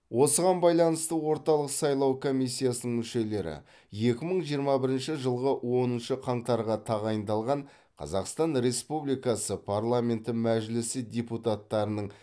осыған байланысты орталық сайлау комиссиясының мүшелері екі мың жиырма бірінші жылғы оныншы қаңтарға тағайындалған қазақстан республикасы парламенті мәжілісі депутаттарының